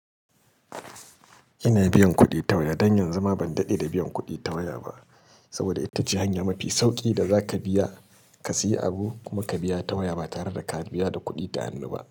Ina biyan kuɗi ta waya. Don yanzu ma ban daɗe da biyan kuɗi ta waya ba, saboda ita ce hanya mafi sauƙi da za ka biya ka sayi abu kuma ka biya ta waya ba tare da ka biya da kuɗi da hannu ba.